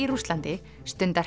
Rússlandi stunda